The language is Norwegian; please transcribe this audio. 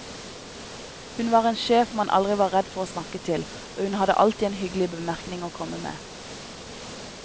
Hun var en sjef man aldri var redd for å snakke til, og hun hadde alltid en hyggelig bemerkning å komme med.